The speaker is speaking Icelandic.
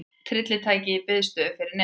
Tryllitækið í biðstöðu fyrir neðan.